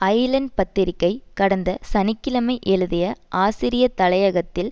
Island பத்திரிகை கடந்த சனி கிழமை எழுதிய ஆசிரிய தலையங்கத்தில்